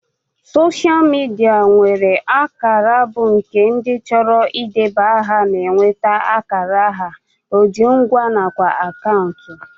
Soshal midia na-enwe akara weebụ nke ndị chọrọ idebanye aha na-enweta akara aha ojingwa nakwa akaụntụ